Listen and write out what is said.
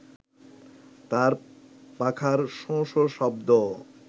তার পাখার শোঁ-শোঁ শব্দ